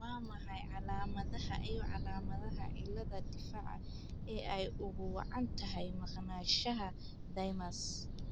Waa maxay calaamadaha iyo calaamadaha cilladda difaaca ee ay ugu wacan tahay maqnaanshaha thymus?